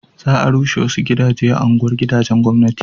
za a rushe wasu gidaje a unguwar gidajen gwamnati